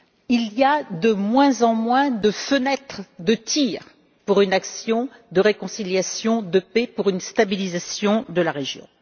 Il y a de moins en moins de fenêtres de tir pour une action de réconciliation et de paix ou pour une stabilisation de la région.